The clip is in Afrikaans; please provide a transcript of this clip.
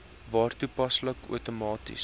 waar toepaslik outomaties